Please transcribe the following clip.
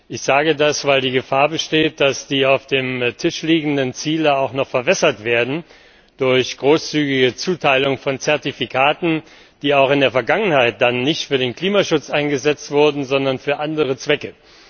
Ich sage das, weil die Gefahr besteht, dass die auf dem Tisch liegenden Ziele auch noch verwässert werden durch großzügige Zuteilung von Zertifikaten, die auch in der Vergangenheit dann nicht für den Klimaschutz eingesetzt wurden, sondern für andere Zwecke.